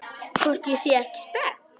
Hvort ég sé ekki spennt?